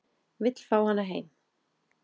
Vill fá hana heim